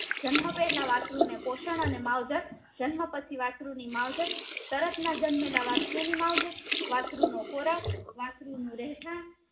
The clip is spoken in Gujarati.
જન્મ પહેલા વાસ્ત્રુ ને પોષણ અને માવજત જન્મ પછી ની માવજત તરત ના જન્મેલા વસ્રતુ ની માવજત વસ્રતુ નો ખોરાક વસ્ત્રુ નું રહેઠાણ